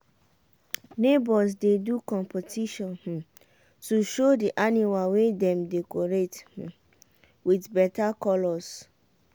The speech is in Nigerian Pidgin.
neighbors dey do competition um to show the animal wey dem decorate um with better colours.